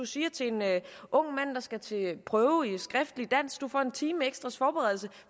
siger til en ung mand der skal til prøve i skriftligt dansk at han får en times ekstra forberedelse